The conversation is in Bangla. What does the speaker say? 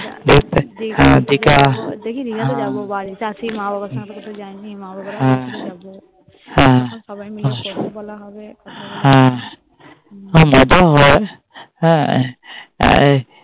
হ্যাঁ দিঘা হ্যাঁ দেখি দীঘাটে যাবো বাড়িতেই তো আছি মা বাবার সঙ্গে কোথাও যায়নি মা বাবারও ভালো লাগবে হ্যাঁ সবাই মিলে মজাও হবে